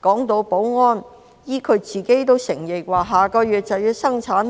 談到保安，她自己也承認下個月就要生產，'